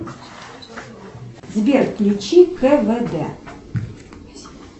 сбер включи квд